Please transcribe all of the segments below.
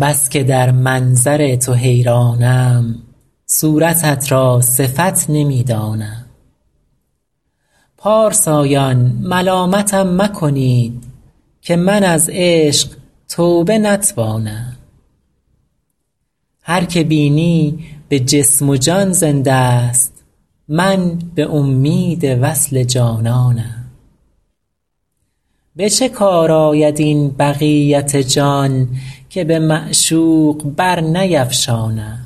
بس که در منظر تو حیرانم صورتت را صفت نمی دانم پارسایان ملامتم مکنید که من از عشق توبه نتوانم هر که بینی به جسم و جان زنده ست من به امید وصل جانانم به چه کار آید این بقیت جان که به معشوق برنیفشانم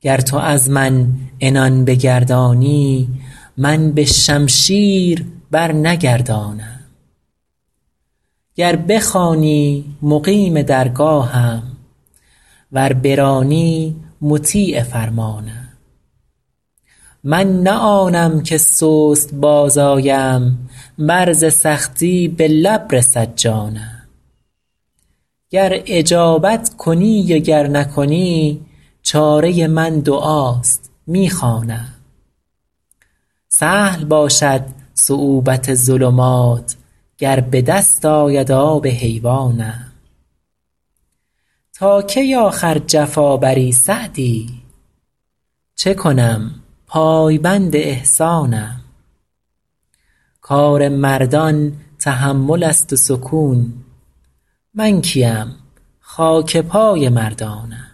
گر تو از من عنان بگردانی من به شمشیر برنگردانم گر بخوانی مقیم درگاهم ور برانی مطیع فرمانم من نه آنم که سست باز آیم ور ز سختی به لب رسد جانم گر اجابت کنی و گر نکنی چاره من دعاست می خوانم سهل باشد صعوبت ظلمات گر به دست آید آب حیوانم تا کی آخر جفا بری سعدی چه کنم پایبند احسانم کار مردان تحمل است و سکون من کی ام خاک پای مردانم